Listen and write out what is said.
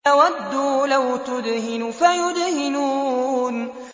وَدُّوا لَوْ تُدْهِنُ فَيُدْهِنُونَ